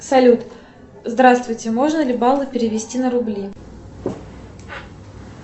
салют здравствуйте можно ли баллы перевести на рубли